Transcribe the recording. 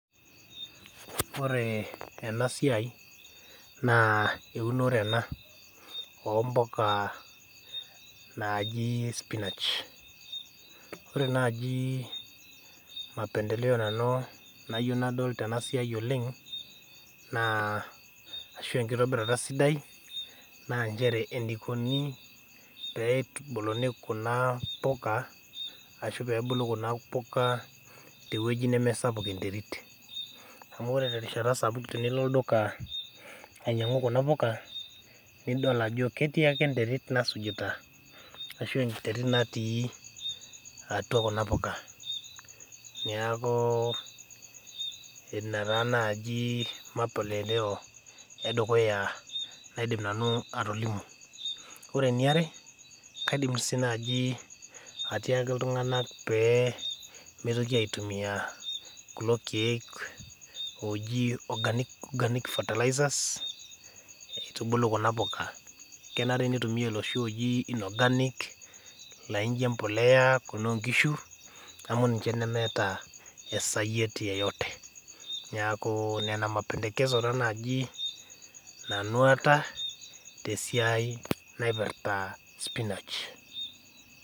Ore enasiai naa eunore ena oompoka naajii spinach. Ore najii  mapendeleo nanu nayou nadol tenasiai oleng' naa ashu enkitobirata sidai naanchere eneikoni peitubuluni kuna poka ashu peebulu kuna puka tewueji nemesapuk enterit. Amu ore terishata sapuk tinilo olduka ainyang'u kuna puka nidol ajo ketii ake enterit nasujita ashu enterit natii atua kuna puka. Neakuu ina taa najii mapendeleo edukuya naidim nanu atolimu. Ore eniare kaidim sii naji atiaki iltung'anak peemeitoki aitumia kulo keek oji organic fertilizers eitubulu kuna poka, kenare neitumia loshi ojii inorganic laijo empolea kunaonkishu amu ninche nemeeta esayiet yoyote neaku nena mapendekezo[cs ] taa naji nanu aata tesiai naipirta spinach.